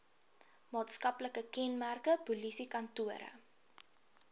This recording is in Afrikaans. maatskaplike kenmerke polisiekantore